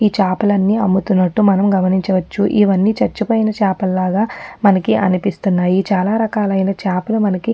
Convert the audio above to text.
ఈ చాపలన్ని అమ్ముతున్నటు మనం గమనించవచ్చు. ఇవ్వని చచ్చిపోయిన చాపలులాగ మనకి అనిపిస్తున్నాయి. చాలా రకాలలైన చాపలు మనకి--